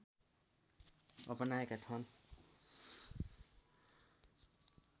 अपनाएका छन्